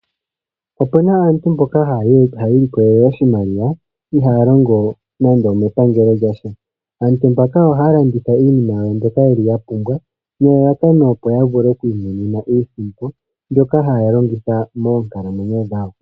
Opena aantu mboka haya ilikolele oshimaliwa, ihe ihaya longo nande omepangelo lyasha. Aantu mbaka ohaya landitha iipumbiwa yawo mbyoka ya pumbwa, opo ya vule oku imonena iisimpo mbyoka haya longitha moonkalamwenyo dhawo.